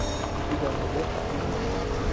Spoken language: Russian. у тебя найдется тримей